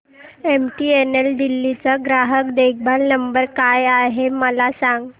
MTNL Delhi चा ग्राहक देखभाल नंबर काय आहे मला सांग